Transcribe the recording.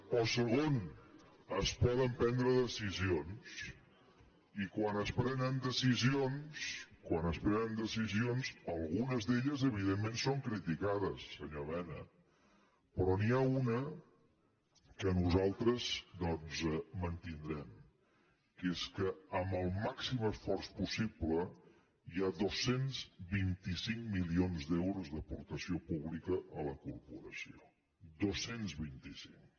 o segon es poden prendre decisions i quan es prenen decisions algunes d’elles evidentment són criticades senyor mena però n’hi ha una que nosaltres doncs mantindrem que és que amb el màxim esforç possible hi ha dos cents i vint cinc milions d’euros d’aportació pública a la corporació dos cents i vint cinc